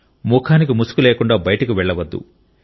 ముఖానికి ముసుగు లేకుండా బయటకు వెళ్లవద్దు